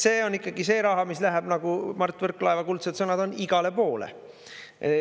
See on ikkagi see raha, mis läheb, nagu Mart Võrklaeva kuldsed sõnad on, igale poole.